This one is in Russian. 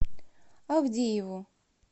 авдееву